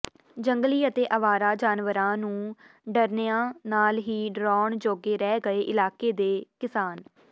ਜੰਗਲੀ ਅਤੇ ਅਵਾਰਾ ਜਾਨਵਰਾਂ ਨੂੰ ਡਰਨਿਆਂ ਨਾਲ ਹੀ ਡਰਾਉਣ ਜੋਗੇ ਰਹਿ ਗਏ ਇਲਾਕੇ ਦੇ ਕਿਸਾਨ